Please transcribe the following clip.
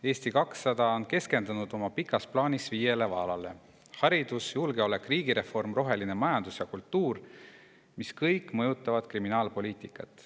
Eesti 200 on keskendunud oma pikas plaanis viiele vaalale: haridus, julgeolek, riigireform, roheline majandus ja kultuur, mis kõik mõjutavad kriminaalpoliitikat.